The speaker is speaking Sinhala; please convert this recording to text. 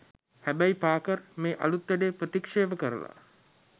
හැබැයි පාකර් මේ අලුත් වැඩේ ප්‍රතික්ෂේප කරල